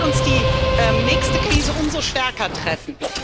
Dann wird uns die nächste Krise umso stärker treffen.